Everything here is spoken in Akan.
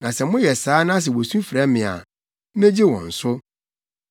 na sɛ moyɛ saa na wosu frɛ me a, megye wɔn so.